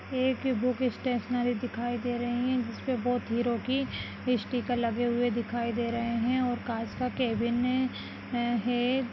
एक book stationery दिखाई दे रहे है जिसमे बहुत हीरो की स्टिकर लगे हुए दिखाई दे रहे है और कांच का कैबिन है।